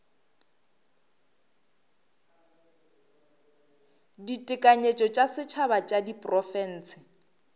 ditekanyetšo tša setšhaba tša diprofense